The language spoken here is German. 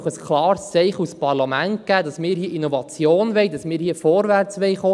Wir können nun als Parlament ein klares Zeichen setzen, wonach wir Innovationen fördern und vorwärtsgehen wollen.